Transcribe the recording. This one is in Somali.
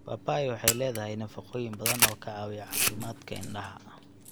Papai waxay leedahay nafaqooyin badan oo ka caawiya caafimaadka indhaha.